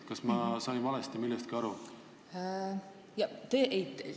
Kas ma olen millestki valesti aru saanud?